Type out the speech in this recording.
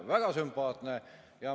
Väga sümpaatne!